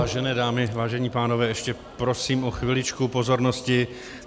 Vážené dámy, vážení pánové, ještě prosím o chviličku pozornosti.